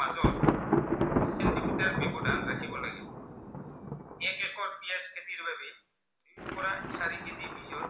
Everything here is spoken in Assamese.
এই খেতিৰ বাবে পোৰা চাৰি KG বীজৰ